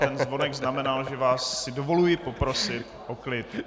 ten zvonek znamenal, že si vás dovoluji poprosit o klid.